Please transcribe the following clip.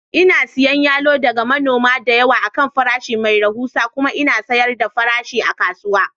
Ina siyan yalo daga manoma da yawa a kan farashi mai rahusa kuma in sayar da farashi a kasuwa